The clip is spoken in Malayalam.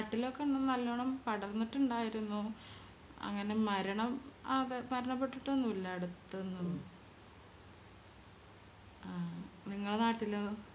നാട്ടിലോക്കെ നല്ലോണം പടർന്നിട്ടിണ്ടായിരുന്നു അങ്ങനെ മരണം അ മരണപ്പെട്ടിട്ടൊന്നുല്ല അടുത്ത് നിന്നോന്നും ആഹ് നിങ്ങളെ നാട്ടിലോ